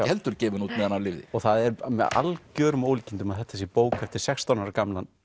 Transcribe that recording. heldur gefin út meðan hann lifði það er með algjörum ólíkindum að þetta sé bók eftir sextán ára gamlan